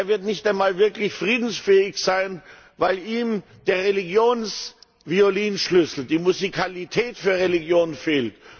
Ja, er wird nicht einmal wirklich friedensfähig sein, weil ihm der Religions Violinschlüssel, die Musikalität für Religion, fehlt.